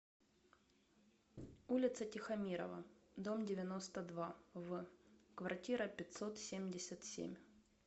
улица тихомирова дом девяносто два в квартира пятьсот семьдесят семь